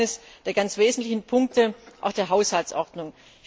Das ist einer der ganz wesentlichen Punkte auch der Haushaltsordnung.